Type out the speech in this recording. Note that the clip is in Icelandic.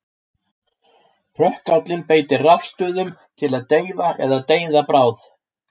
Hrökkállinn beitir rafstuðum til að deyfa eða deyða bráð.